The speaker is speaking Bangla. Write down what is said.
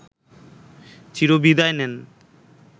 চিরবিদায় নেন